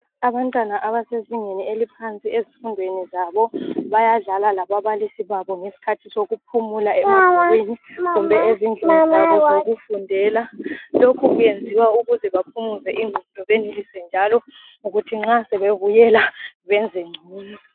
Abantwana abasezingeni eliphansi ezifundweni zabo bayadlala lababalisi babo ngesikhathi sokuphumula emabhukwini kumbe ezindlini zabo zokundela lokhu kuyenziwa ukuze baphumuze ingqondo njalo ukuthi nxa sebebuyela benze ngcono